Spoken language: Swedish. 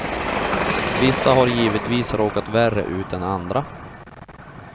Vissa har givetvis råkat värre ut än andra.